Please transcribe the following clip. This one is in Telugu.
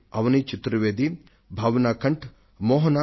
అవని చతుర్వేది భావన కాంత్ మోహన లు